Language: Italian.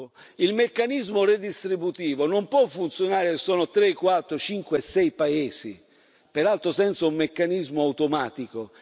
Secondo il meccanismo redistributivo non può funzionare se ci sono solo tre, quattro, cinque, sei paesi, peraltro senza un meccanismo automatico.